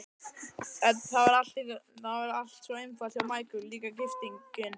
Það var allt svo einfalt hjá Michael, líka gifting.